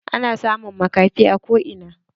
Ana samun maƙafi a ko ina.